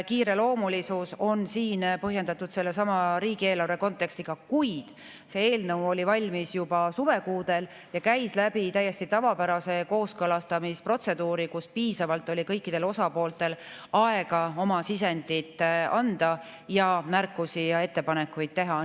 Kiireloomulisus on siin põhjendatud sellesama riigieelarve kontekstiga, kuid see eelnõu oli valmis juba suvekuudel ja käis läbi täiesti tavapärase kooskõlastamise protseduuri, kus kõikidel osapooltel oli piisavalt aega oma sisendit anda ning märkusi ja ettepanekuid teha.